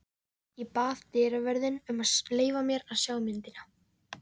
Ég bað dyravörðinn um að leyfa mér að sjá myndina.